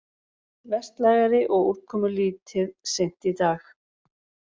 Vestlægari og úrkomulítið seint í dag